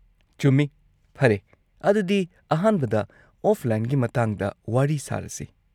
-ꯆꯨꯝꯃꯤ, ꯐꯔꯦ, ꯑꯗꯨꯗꯤ ꯑꯍꯥꯟꯕꯗ ꯑꯣꯐꯂꯥꯏꯟꯒꯤ ꯃꯇꯥꯡꯗ ꯋꯥꯔꯤ ꯁꯥꯔꯁꯤ꯫